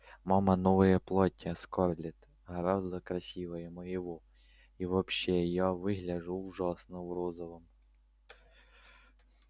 мама новое платье скарлетт гораздо красивее моего и вообще я выгляжу ужасно в розовом